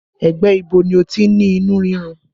Ẹ̀gbẹ́ ibo ni o ti ní inú rírun?